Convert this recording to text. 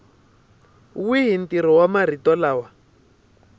wihi ntirho wa marito lama